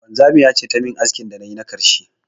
Wanzamiya ce ta yi min askin da na yi na karshe.